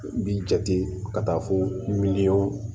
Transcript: B'i jate ka taa fo